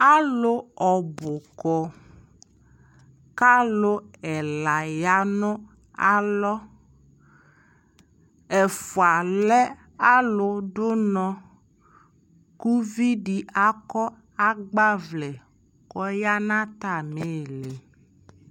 Alʋ ɔbʋ kɔ, kʋ alʋ ɛla ya nalɔ Ɛfua lɛ alʋdʋnɔ kʋ ʋvi di akɔ agbavlɛ kɔya nʋ atami ili